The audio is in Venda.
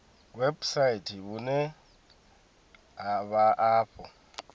website vhune ha vha afho